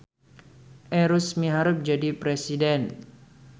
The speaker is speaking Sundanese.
Erus miharep jadi presiden